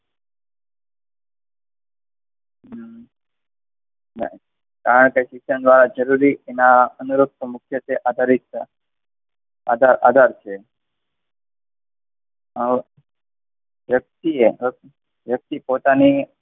કારણ કે શિક્ષણ દ્વારા જરૂરી એના અનુરૂપ મુખ્યત્વે આધારિત છે. આધાર છે. વ્યક્તિએ, વ્યક્તિએ પોતાની,